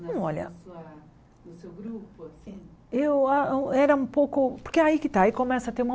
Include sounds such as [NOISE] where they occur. Olha [UNINTELLIGIBLE] o seu grupo assim Eu a era um pouco porque aí que está aí começa a ter uma